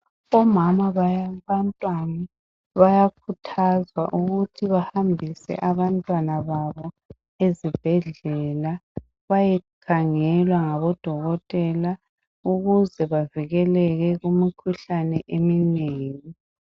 Omama babantwana bayakhuthazwa ukuthi bahambise abantwana babo ezibhedlela bayekhangelwa ngabo dokotela ukuze bavikeleke kumikhuhlane eminengi .